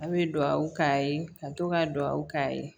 A' bɛ duwawu k'a ye ka to ka duwawu k'a ye